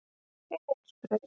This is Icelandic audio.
Egilsbraut